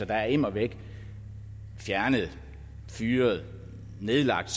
der er immer væk fjernet fyret nedlagt